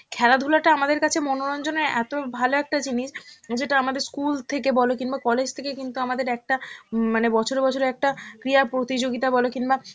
খেলাধুলা টা আমাদের কাছে মনোরঞ্জনের এত ভালো একটা জিনিস, যেটা আমাদের school থেকে কিংবা college থেকে কিন্তু আমাদের একটা উম মানে বছরে বছরে একটা ক্রিয়া প্রতিযোগিতা বলো কিংবা